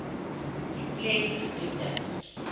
a plant breeders